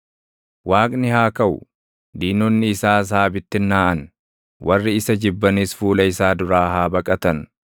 Waaqni haa kaʼu; diinonni isaas haa bittinnaaʼan; warri isa jibbanis fuula isaa duraa haa baqatan.